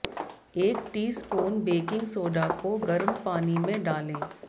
एक teaspoon baking soda को गर्म पानी में डालें